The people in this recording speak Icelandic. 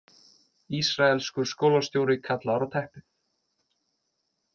Ísraelskur skólastjóri kallaður á teppið